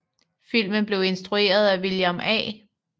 Filmen blev instrueret af William A